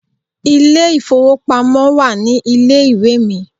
Ilé ìfowópamọ́ wà ní ilé ìwé mi.